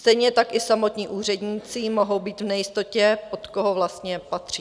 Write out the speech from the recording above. Stejně tak i samotní úředníci mohou být v nejistotě, pod koho vlastně patří.